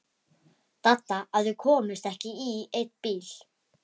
Dadda að þau komust ekki í einn bíl.